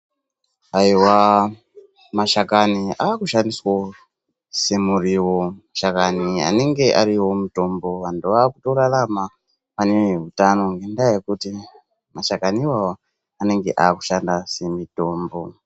Ayiwa mashakani ,akushandiswawo semuriwo ,mashakani anenge ariwomutombo ndoaakutorarama anehutano ngendaa yekuti mashakani iwawo ndoanenge aakushanda semitombo.